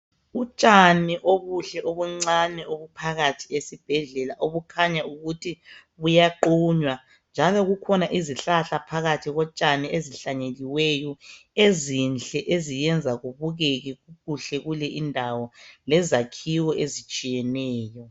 Utshani obuhle obuncani obuphakathi esibhedlela obukhanya ukuthi buyaqunywa njalo kukhona izihlahla phakathi kotshani ezihlanyeliweyo ezinhle eziyenza kubukeke kuhle kuele indawo lezakhiwo ezitshiyeneyo.